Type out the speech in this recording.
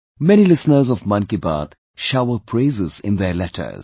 Many listeners of 'Mann Ki Baat' shower praises in their letters